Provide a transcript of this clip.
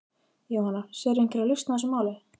Jóhanna: Sérðu einhverja lausn á þessu máli?